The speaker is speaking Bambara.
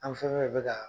An fɛn fɛn bɛ ka